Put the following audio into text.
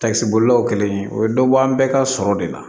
Takisibolilaw kelen o bɛ dɔ bɔ an bɛɛ ka sɔrɔ de la